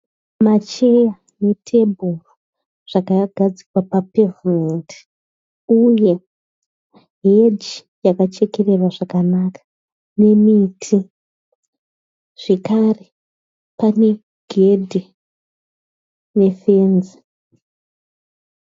Macheya netebhuru zvakagadzikwa papevhumendi uye heji yakachekererwa zvakanaka nemiti zvekare pane gedhi nefenzi